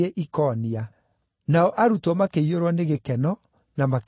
Nao arutwo makĩiyũrwo ni gĩkeno, na makĩiyũrwo nĩ Roho Mũtheru.